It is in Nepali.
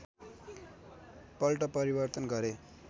पल्ट परिवर्तन गरे